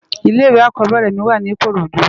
Ilè iwé ákòbèrè mi wá ni ikorodu